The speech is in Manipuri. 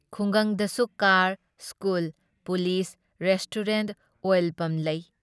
ꯈꯨꯡꯒꯪꯗꯁꯨ car, school, police, restaurant, oil pump ꯂꯩ ꯫